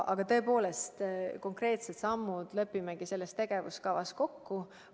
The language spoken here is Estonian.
Aga tõepoolest, konkreetsed sammud lepimegi selles tegevuskavas kokku.